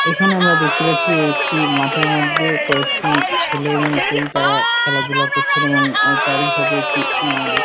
এখানে আমরা দেখতে পাচ্ছি একটি মাঠের মধ্যে কয়েকটি ছেলেমেয়ে ইত্যাদি তারা খেলাধুলা করছেন এবং অ্যাঁ তারই সাথে একটি অ্যাঁ--